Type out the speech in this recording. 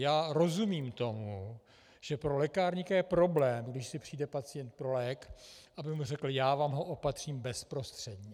Já rozumím tomu, že pro lékárníka je problém, když si přijde pacient pro lék, aby mu řekl "já vám ho opatřím bezprostředně".